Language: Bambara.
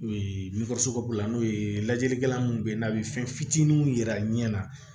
n'o ye lajɛlikɛla mun bɛ ye n'a bɛ fɛn fitininw yira ɲɛ na